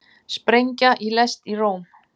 Sprengja í lest í Róm